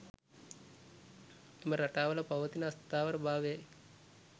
එම රටාවල පවතින අස්ථාවර භාවයයි.